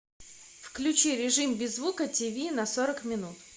включи режим без звука тиви на сорок минут